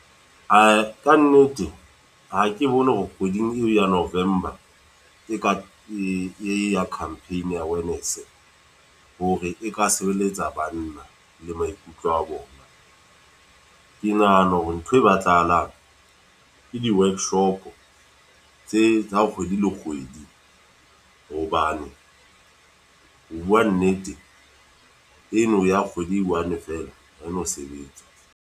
Ae ka nnete, ha ke bone hore kgweding eo ya November, e ka e ya campaign ya wellness. Hore e ka sebeletsa banna, le maikutlo a bona. Ke nahana hore ntho e batlahalang, ke di-workshop tse tsa kgwedi le kgwedi. Hobane ho bua nnete, eno ya kgwedi e one fela haena sebetsa.